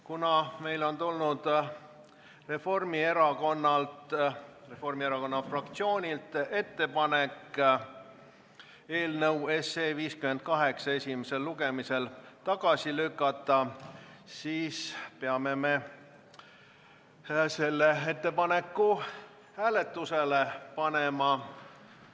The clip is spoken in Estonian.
Kuna meile on tulnud Reformierakonna fraktsioonilt ettepanek eelnõu 58 esimesel lugemisel tagasi lükata, siis peame selle ettepaneku hääletusele panema.